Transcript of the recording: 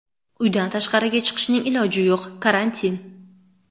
Uydan tashqariga chiqishning iloji yo‘q, karantin.